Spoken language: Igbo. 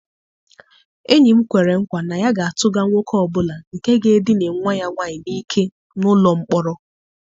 Enyi m kwere nkwa na ya ga-atụga nwoke ọ bụla nke ga-edina nwa ya nwaanyị n'ike n'ụlọ mkpọrọ.